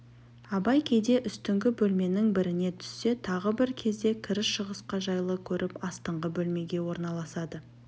абай кейде үстіңгі бөлменің біріне түссе тағы бір кезде кіріс-шығысқа жайлы көріп астыңғы бөлмеге орналасады